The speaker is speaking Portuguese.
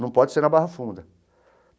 Não pode ser na Barra Funda.